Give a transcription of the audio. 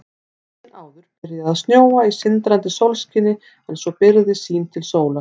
Daginn áður byrjaði að snjóa í sindrandi sólskini en svo byrgði sýn til sólar.